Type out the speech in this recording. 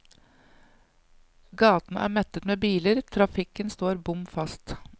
Gatene er mettet med biler, trafikken står bom fast.